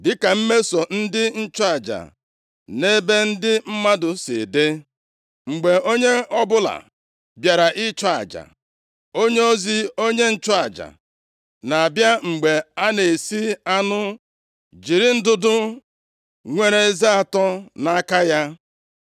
Dịka mmeso ndị nchụaja nʼebe ndị mmadụ si dị: mgbe onye ọbụla bịara ịchụ aja, onyeozi onye nchụaja na-abịa mgbe a na-esi anụ, jiri ndụdụ nwere eze atọ nʼaka ya.